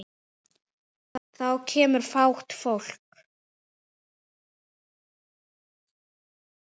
Þá kemur fát á fólk.